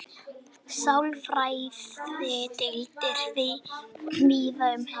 sálfræðideildir víða um heim